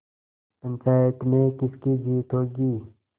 पंचायत में किसकी जीत होगी